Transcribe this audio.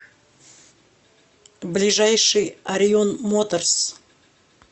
ближайший орион моторс